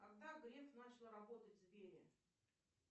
когда греф начал работать в сбере